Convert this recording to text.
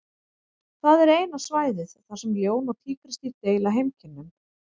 Það er eina svæðið þar sem ljón og tígrisdýr deila heimkynnum.